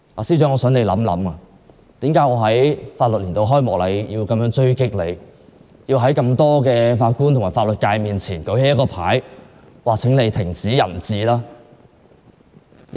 司長應反省為何我會在法律年度開啟典禮上在多位法官和法律界人士面前高舉標語追擊她，希望她停止"人治"。